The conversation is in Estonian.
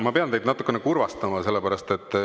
Ma pean teid natukene kurvastama.